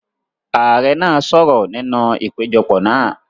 Ààrẹ náà sọ̀rọ̀ nínú ìpéjọpọ̀ náà.